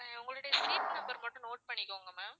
உங்களுடைய seat number மட்டும் note பண்ணிக்கோங்க ma'am